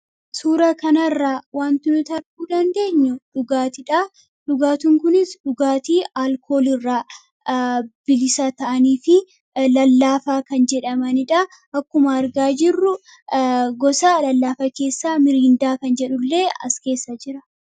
suura kanaarraa wanti nuti arguu dandeenyu dhugaatidhaa. Dhugaatiin kunis dhugaatii alkoolii irraa bilisa ta'anii fi lallaafaa kan jedhamanidhaa. Akkuma argaa jirru gosaa lallaafa keessaa miriindaa kan jedhullee as keessa jira.